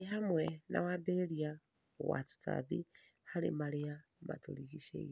ĩ hamwe na wambĩrĩria wa tũtambi harĩ marĩa matũrigicĩirie.